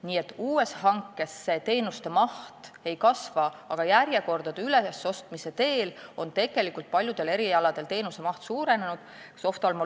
Nii et uue hankega teenuste maht ei kasva, aga järjekordade ülesostmise tõttu on paljudel erialadel teenuste maht tegelikult suurenenud.